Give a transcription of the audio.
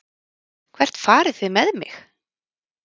Hvert farið þið með mig?